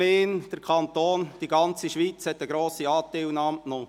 die Region, die Gemeinde, die ganze Schweiz zeigten grosse Anteilnahme.